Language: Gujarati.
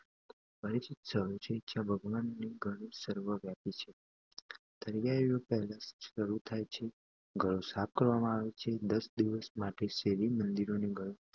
જ્યાં ભગવાન ગણેશ સર્વવ્યાપી છે . તૈયારીઓ પહેલાથી જ શરૂ થાય છે, ઘરો સાફ કરવામાં આવે છે અને દસ દિવસ માટે શેરી, મંદિરો અને ઘરો